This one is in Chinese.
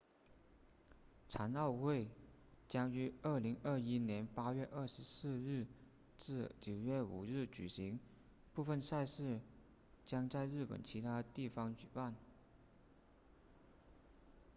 残奥会将于2021年8月24日至9月5日举行部分赛事将在日本其他地方举办